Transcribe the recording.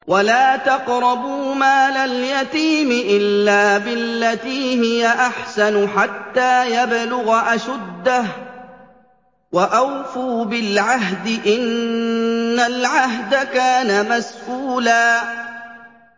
وَلَا تَقْرَبُوا مَالَ الْيَتِيمِ إِلَّا بِالَّتِي هِيَ أَحْسَنُ حَتَّىٰ يَبْلُغَ أَشُدَّهُ ۚ وَأَوْفُوا بِالْعَهْدِ ۖ إِنَّ الْعَهْدَ كَانَ مَسْئُولًا